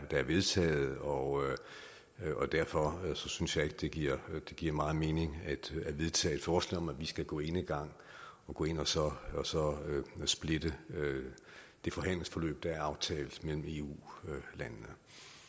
der er vedtaget og derfor synes jeg ikke det giver giver meget mening at vedtage et forslag om at vi skal gå enegang og gå ind og så splitte det forhandlingsforløb der er aftalt mellem eu landene